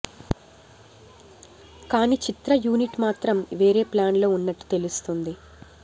కానీ చిత్ర యూనిట్ మాత్రం వేరే ప్లాన్ లో ఉన్నట్టు తెలుస్తుంది